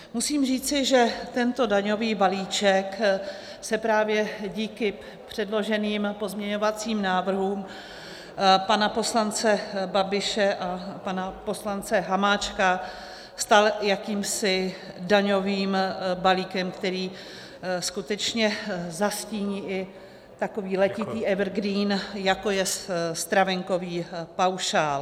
Musím říci, že tento daňový balíček se právě díky předloženým pozměňovacím návrhům pana poslance Babiše a pana poslance Hamáčka stal jakýmsi daňovým balíkem, který skutečně zastíní i takový letitý evergreen, jako je stravenkový paušál.